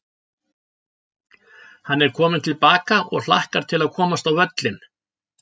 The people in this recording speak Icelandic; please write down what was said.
Hann er kominn til baka og hlakkar til að komast á völlinn.